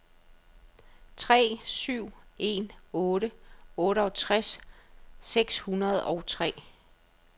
tre syv en otte otteogtres seks hundrede og tre